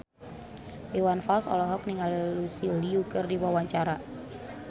Iwan Fals olohok ningali Lucy Liu keur diwawancara